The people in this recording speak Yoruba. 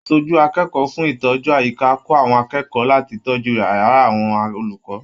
Aṣojú akẹ́kọ̀ọ́ fún ìtọ́jú àyíká kò àwọn akẹ́kọ̀ọ́ láti tọjú yàrá àwọn olùkọ.